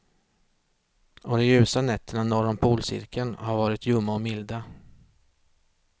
Och de ljusa nätterna norr om polcirkeln har varit ljumma och milda.